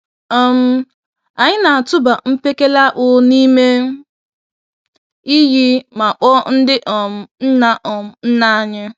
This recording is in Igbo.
um Anyị na-atụba mkpekele-akpụ n'ime iyi ma kpọọ ndị um nna um nna anyị.